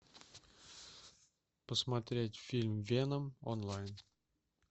посмотреть фильм веном онлайн